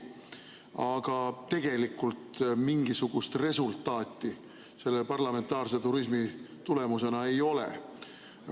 Aga tegelikult mingisugust resultaati selle parlamentaarse turismi tulemusena ei ole.